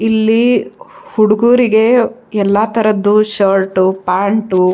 ಇಲ್ಲಿ ಹುಡುಗುರಿಗೆ ಎಲ್ಲ ತರದ್ದು ಶರ್ಟು ಪ್ಯಾಂಟು --